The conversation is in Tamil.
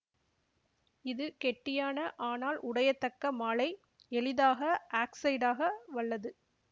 இது கெட்டியான ஆனால் உடையத்தக்க மாழை எளிதாக ஆக்சைடாக வல்லது